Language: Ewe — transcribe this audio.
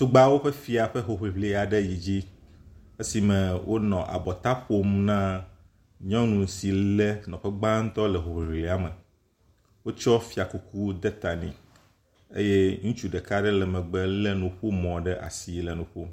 Tugbeawo ƒe fia ƒe hoŋiŋli yi dzi esime wonɔ abɔta ƒom na nyɔnu si le nɔƒe gbãtɔ le hoŋiŋlia me. Wotsɔ fiakuku de ta nɛ eye ŋutsu ɖeka le megbe le nuƒomɔ ɖe asi le nu ƒom.